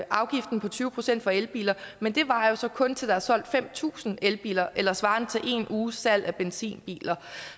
afgiften på tyve procent for elbiler men det varer så kun til der er solgt fem tusind elbiler eller svarende til en uges salg af benzinbiler